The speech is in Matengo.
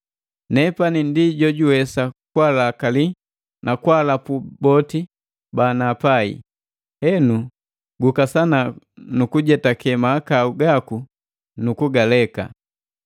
Nepani ndi jojuwesa kwalakali na kwaalapu boti banapai. Henu, gukasana nu kujetake mahakau gaku nu kugaleka.